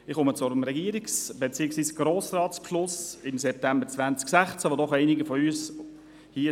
Ich komme zum Regierungs- , beziehungsweise zum Grossratsbeschluss vom September 2016 , bei dem doch einige von uns dabei waren: